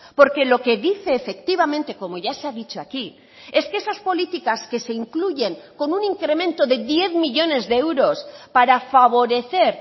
porque lo que dice efectivamente como ya se ha dicho aquí es que esas políticas que se incluyen con un incremento de diez millónes de euros para favorecer